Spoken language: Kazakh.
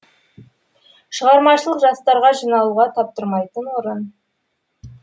шығармашыл жастарға жиналуға таптырмайтын орын